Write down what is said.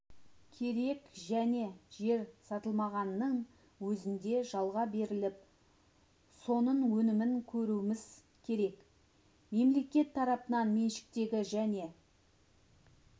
керек және жер сатылмағанның өзінде жалға беріліп соның өнімін көруіміз керек мемлекет тарапынан меншіктегі және